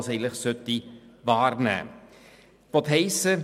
Das ist auf Seite 53 etwas angetönt.